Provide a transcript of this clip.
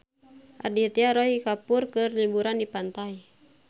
Aditya Roy Kapoor keur liburan di pantai